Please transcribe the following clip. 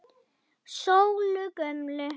Sólu gömlu.